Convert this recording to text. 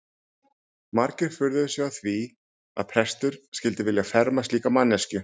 Margir furðuðu sig á því að prestur skyldi vilja ferma slíka manneskju.